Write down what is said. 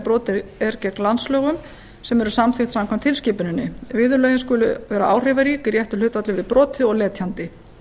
brotið er gegn landslögum sem eru samþykkt samkvæmt tilskipuninni viðurlögin skulu vera áhrifarík í réttu hlutfalli við brotið og letjandi